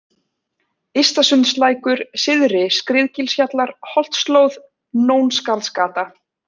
Ystasundslækur, Syðri-Skriðugilshjallar, Holtsslóð, Nónskarðsgata